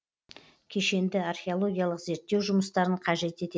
кешенді археологиялық зерттеу жұмыстарын қажет етеді